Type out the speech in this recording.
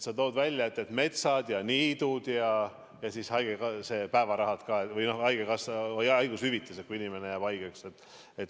Sa tõid välja metsad ja niidud ja haigushüvitise, kui inimene jääb haigeks.